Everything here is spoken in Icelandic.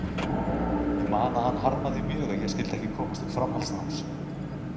Ég man að hann harmaði mjög að ég skyldi ekki komast til framhaldsnáms.